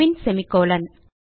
பின் semicolon